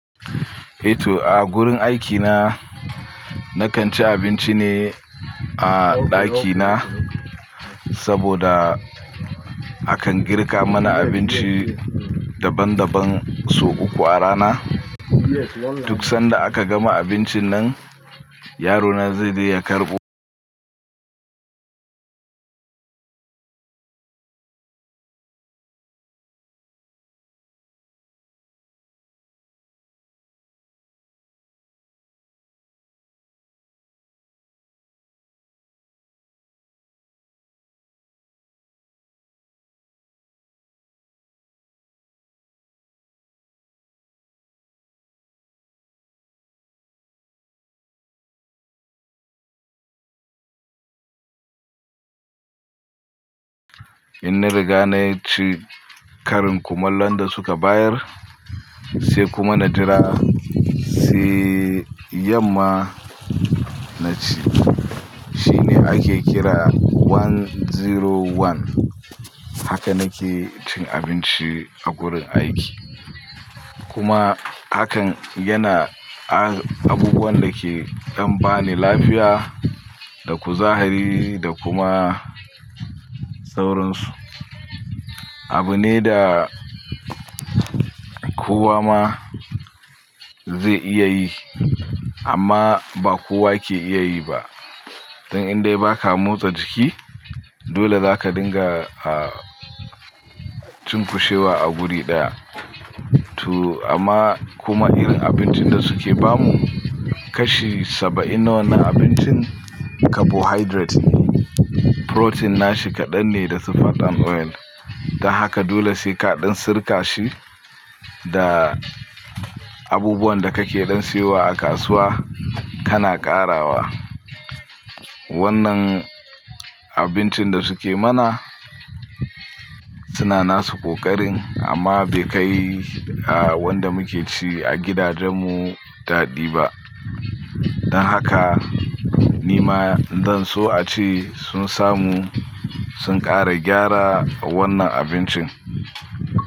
Eh to a wurin aikina nakan ci abinci ne a ɗakina saboda akan girka mana abinci daban daban so uku a rana. Duk sanda aka gama abincin nan, yaro na zai je ya karɓo. In na riga ne ci karin kumallon da suka bayar se kuma na jira se yamma na ci. Shi ne ake kira 101. Haka nake cin abinci a gurin aiki. Kuma hakan yana a abubuwan da ke dan ba ni lafiya da kuzari da kuma sauransu. Abu ne da kowa ma ze iya yi amma ba kowa ke iya yi ba. Dan in de baka motsa jiki dole zaka dinga ah cin kushewa a guri ɗaya. To amma kuma irin abincin da suke ba mu kashi 70% na wannan abincin carbohydrate ne. Protein nashi kaɗan ne da su fat and oil. Don haka dole se kaɗan sirka shi da abubuwan da kake dan siyowa a kasuwa kana ƙarawa. Wannan abincin da suke mana suna nasu ƙoƙarin amma be kai wanda muke ci a gidajen mu daɗi ba. Dan haka ni ma zan so ace sun samu sun ƙara gyara wan nan abincin.